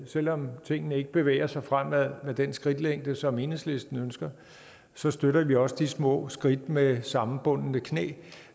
selv om tingene ikke bevæger sig fremad med den skridtlængde som enhedslisten ønsker så støtter vi også de små skridt med sammenbundne knæ